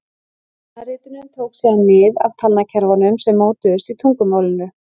Talnaritunin tók síðan mið af talnakerfunum sem mótuðust í tungumálinu.